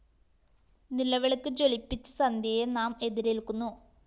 നിലവിളക്ക് ജ്വലിപ്പിച്ച് സന്ധ്യയെ നാം എതിരേല്‍ക്കുന്നു